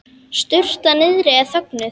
Sturtan niðri er þögnuð.